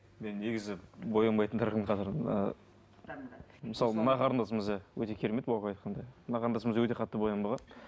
мен негізі боянбайтындардың қатарына мысалы мына қарындасымыз иә өте керемет баука айтқандай мына қарындасымыз да өте қатты боянбаған